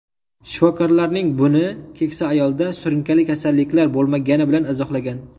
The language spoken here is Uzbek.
Shifokorlarning buni keksa ayolda surunkali kasalliklar bo‘lmagani bilan izohlagan.